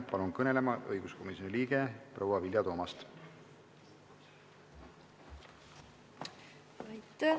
Palun kõnelema õiguskomisjoni liikme proua Vilja Toomasti!